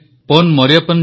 ପ୍ରଧାନମନ୍ତ୍ରୀ thank you